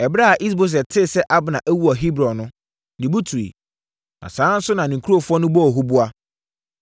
Ɛberɛ a Is-Boset tee sɛ Abner awu wɔ Hebron no, ne bo tuiɛ, na saa ara nso na ne nkurɔfoɔ no bɔɔ huboa.